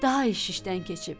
daha iş işdən keçib.